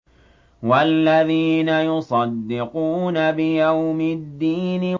وَالَّذِينَ يُصَدِّقُونَ بِيَوْمِ الدِّينِ